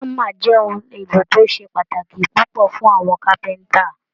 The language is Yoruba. Hámà jẹ́ ohun èlò tó ṣe pàtàkì púpọ̀ fún àwọn carpenter